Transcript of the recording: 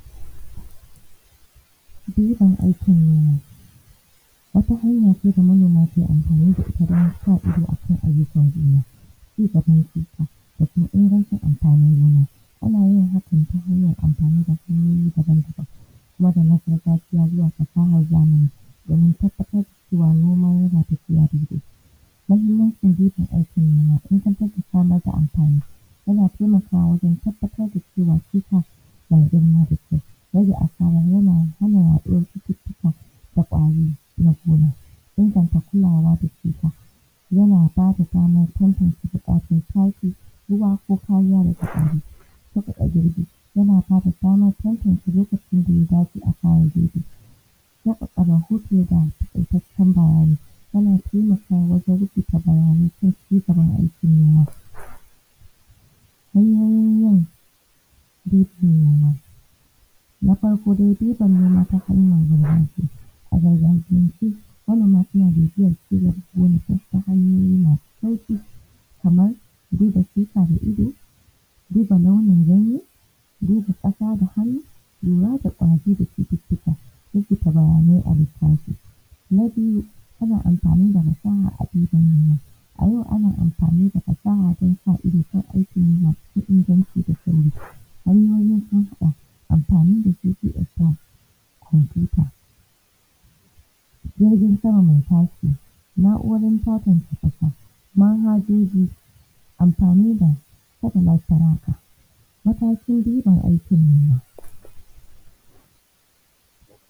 ɗiban alkama wata hanya ce da manoma ke amfani da ita don sa ido a ayyukan noma cigaban shuka kafun ingancin anfani gona, ana yin hakan ta hanyan anfani da hanyoyi daban-daban idan mu kai la’akari da shi wato ainihin matan gida ce wanda take ainihin wato sama ma iyali abinci iyalin gidanta yayanta wanda ta Haifa gayinan lokacin wato ainihin Karin kumallo na safe yayi an’ije gefe wato ainihin shi burudinnan ko muce dankali wanda anka dafo ga shinan an’aje tananan tana waresu shayi ga kowa bayan ta gama zuba shayi ga kowa seta miƙa ma kom wani yaro nasa kofin da wato ainihin abin da zaiyi ci wannan ko zaisha wannan shayi dashi irn wannan tana zubama ainihin iyalan ta abincine kawai yayan ta yangida guda kenan wato ba wata zamaace ta wajeba a wagga jama’a ce ta cikin gida wanda ake ba karin kumallo gayi nan za mu gani ‘ya’yanta guda huɗu ko mu ce harda mai ida sun kasance guda shida kenan.